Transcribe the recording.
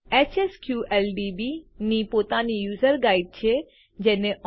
HSQLDB ની પોતાની user guide વપરાશકર્તા માર્ગદર્શિકા છે